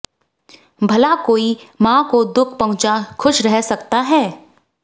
भला कोई माँ को दुख पहुंचा खुश रह सकता है